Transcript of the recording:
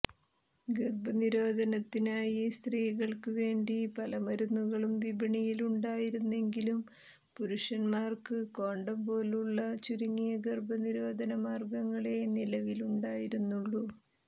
ഗർഭ നിരോധനത്തിനായി സ്ത്രീകൾക്ക് വേണ്ടി പല മരുന്നുകളും വിപണിയിലുണ്ടായിരുന്നെങ്കിലും പുരുഷന്മാർക്ക് കോണ്ടം പോലുള്ള ചുരുങ്ങിയ ഗർഭ നിരോധന മാർഗ്ഗങ്ങളെ നിലവിലുണ്ടായിരുന്നുള്ളൂ